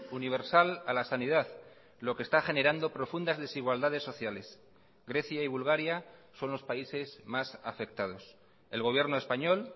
universal a la sanidad lo que está generando profundas desigualdades sociales grecia y bulgaria son los países más afectados el gobierno español